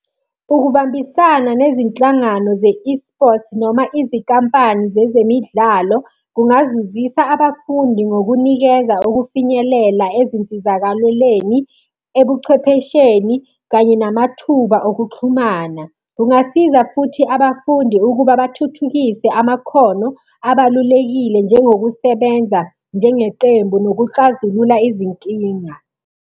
Ukubambisana nezinhlangano ze-eSport noma izinkampani zezemidlalo kungazuzisa abafundi ngokunikeza ukufinyelela ezinsizakalweleni, ebuchwephesheni, kanye namathuba okuxhumana. Kungasiza futhi abafundi ukuba bathuthukise amakhono abalulekile njengokusebenza njengeqembu nokuxazulula izinkinga.